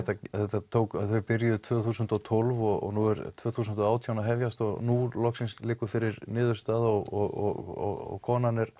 þau byrjuðu tvö þúsund og tólf og nú er tvö þúsund og átján að hefjast og nú loksins liggur fyrir niðurstaða og konan